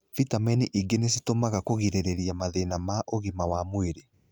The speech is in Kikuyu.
Vitamini ingĩ nĩcitũmĩkaga kũgirĩrĩria mathĩna ma ũgima wa mwĩrĩ.